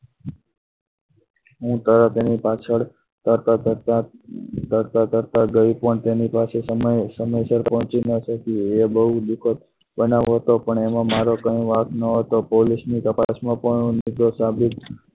હું તરત એની પાછળ તરતા તરતા તરતા તરતા ગઈ પણ તેની પાસે સમય સર પહોંચી ન શકે એ બહુ દુઃખદ બનાવતો પણ એમાં મારો કંઈ વાંક ન હતો police ની તપાસમાં પણ હું નિર્દોષ સાબિત થઈ.